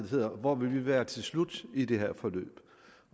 hedder hvor vil vi være til slut i det her forløb